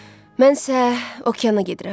Mən isə okeana gedirəm.